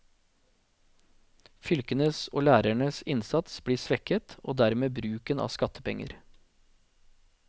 Fylkenes og lærernes innsats blir svekket, og dermed bruken av skattepenger.